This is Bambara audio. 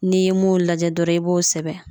N'i ye mun lajɛ dɔrɔn i b'o sɛbɛn